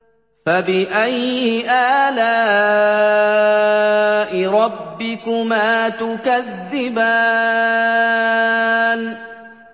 فَبِأَيِّ آلَاءِ رَبِّكُمَا تُكَذِّبَانِ